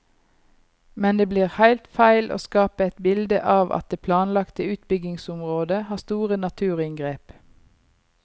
Men det blir heilt feil å skape eit bilde av at det planlagte utbyggingsområdet har store naturinngrep.